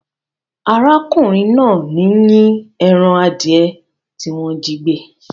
Arákùnrin náà ń yín ẹran adìẹ tí wọ́n jígbẹ́.